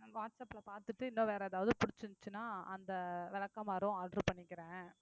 நா வாட்ஸ் ஆப்ல பாத்துட்டு இன்னும் வேற ஏதாவது புடிச்சிருந்துச்சுன்னா அந்த விளக்குமாறும் order பண்ணிக்கிறேன்